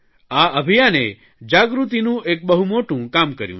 આ અભિયાને જાગૃતિનું એક બહુ મોટું કામ કર્યું છે